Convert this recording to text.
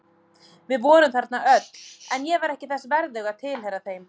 Við vorum þarna öll en ég var ekki þess verðug að tilheyra þeim.